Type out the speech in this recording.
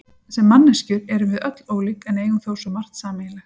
Sem manneskjur erum við öll ólík en eigum þó svo margt sameiginlegt.